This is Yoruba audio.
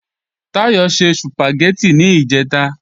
Táyọ̀ se Sùpàgẹ́tì níjẹ̀ta